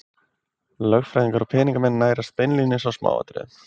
Lögfræðingar og peningamenn nærast beinlínis á smáatriðum